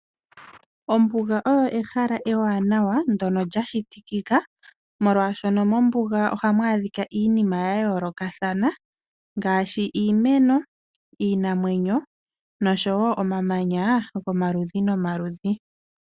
Ombuga oyo ehala ewanawa ndono lya shitikika molwaashono mombuga ohamu adhika iinima ya yoolokathana ngaashi iimeno iinamwenyo noshowo omamanya gomaludhi nomaludhi